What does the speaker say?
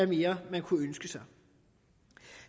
mere kunne ønske sig